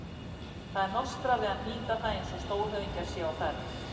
Það er nostrað við að hnýta það eins og stórhöfðingjar séu á ferð.